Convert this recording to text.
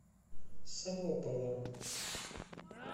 солопова